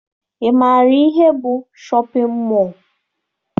Ị maara ihe bụ shọpịn mọọ?